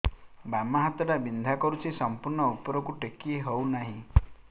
ବାମ ହାତ ଟା ବିନ୍ଧା କରୁଛି ସମ୍ପୂର୍ଣ ଉପରକୁ ଟେକି ହୋଉନାହିଁ